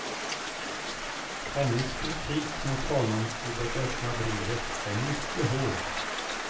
Hennes kritik mot honom i det öppna brevet är mycket hård.